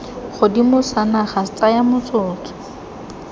godimo sa naga tsaya motsotso